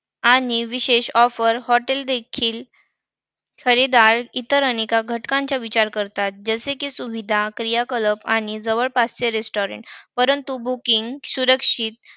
आणि विशेष offer hotel देखील खरेदीदार इतर अनेक घटकांचा विचार करतात. जसे की सुविधा क्रियाकलाप आणि जवळपासचे restaurant. परंतु booking सुरक्षित